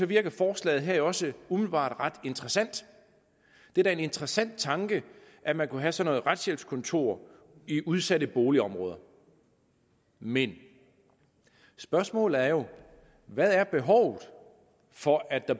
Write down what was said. virker forslaget her jo også umiddelbart ret interessant det er da en interessant tanke at man kunne have sådan nogle retshjælpskontorer i udsatte boligområder men spørgsmålet er jo hvad er behovet for at der